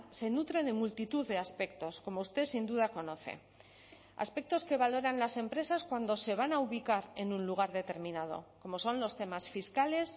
se nutre de multitud de aspectos como usted sin duda conoce aspectos que valoran las empresas cuando se van a ubicar en un lugar determinado como son los temas fiscales